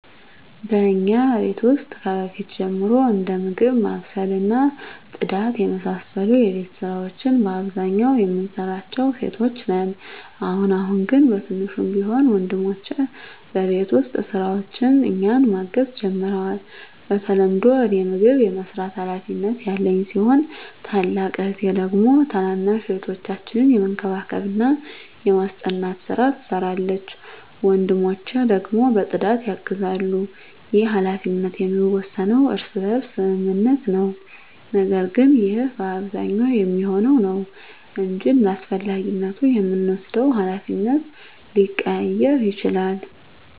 በእኛ ቤት ውስጥ ከበፊት ጀምሮ እንደ ምግብ ማብሰል እና ጽዳት የመሳሰሉ የቤት ስራወች በአብዛኛው የምንሰራው ሴቶች ነን። አሁን አሁን ግን በትንሹም ቢሆን ወንድሞቸ በቤት ውስጥ ስራዎች እኛን ማገዝ ጀምረዋል። በተለምዶ እኔ ምግብ የመስራት ሀላፊነት ያለኝ ሲሆን ታላቅ እህቴ ደግሞ ታናናሽ እህቶቻችንን የመንከባከብና የማስጠናት ስራ ትሰራለች። ወንድሞቸ ደግሞ በፅዳት ያግዛሉ። ይህ ሀላፊነት የሚወሰነው በእርስ በርስ ስምምነት ነው። ነገር ግን ይህ በአብዛኛው የሚሆነው ነው እንጅ እንዳስፈላጊነቱ የምንወስደው ሀላፊነት ሊቀያየር ይችላል።